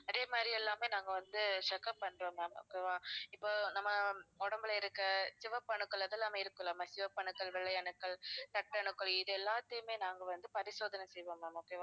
அதே மாதிரி எல்லாமே நாங்க வந்து check up பண்றோம் ma'am okay வா இப்ப நம்ம உடம்பில இருக்க சிவப்பு அணுக்கள் அதெல்லாமே இருக்கும்ல ma'am சிவப்பணுக்கள், வெள்ளை அணுக்கள், ரத்த அணுக்கள் இது எல்லாத்தயுமே நாங்க வந்து பரிசோதனை செய்வோம் ma'am okay வா